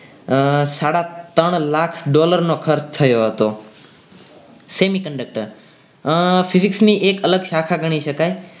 અને સાડા ત્રણ લાખ dollar નો ખર્ચ થયો હતો સેમી conductor physics ની અલગ એક શાખા ગણી શકાય.